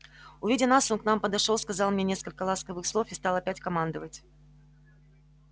увидя нас он к нам подошёл сказал мне несколько ласковых слов и стал опять командовать